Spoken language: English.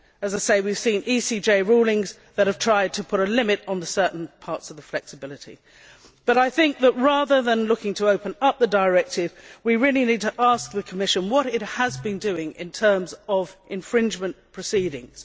As I say, we have seen ECJ rulings that have tried to put a limit on certain parts of the flexibility, but I think that, rather than looking to open up the directive, we need to ask the Commission what it has been doing in terms of infringement proceedings.